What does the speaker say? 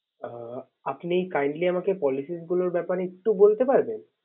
আহ আপনি kindly আমাকে policies গুলোর ব্যাপারে একটু বলতে পারবেন